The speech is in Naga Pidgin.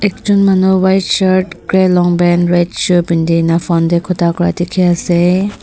ekjon manu white shirt grey long pant red shoe pinti kae na phone tae khota Kura dikhiase.